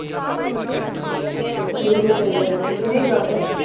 ਬਿਲਕੁਲ ਸਹੀਂ ਗੱਲ ਏ ਨਹੀਂ ਜਾਂ ਸਕਦੇ